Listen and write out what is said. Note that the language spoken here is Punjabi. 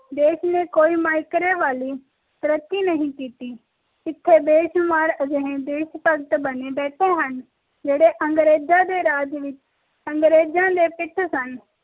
ਦੇਸ਼ ਨੇ ਕੋਈ ਮੈਕਰੇ ਵਾਲੀ ਤਰੱਕੀ ਨਹੀਂ ਕੀਤੀ ਜਿਥੇ ਬੇਸ਼ੁਮਾਰ ਅਜਿਹੇ ਦੇਸ਼ ਭਗਤਬਣੇ ਬੈਠੇ ਹਨ ਜਿਹੜੇ ਅੰਗਰੇਜਾਂ ਦੇ ਰਾਜ ਵਿਚ ਅੰਗਰੇਜਾਂ ਦੇ ਰਾਜ ਵਿਚ ਅੰਗਰੇਜਾਂ ਦੇ ਸਿੱਖ ਸਨ